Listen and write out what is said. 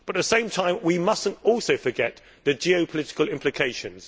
At the same time, however, we must not also forget the geopolitical implications.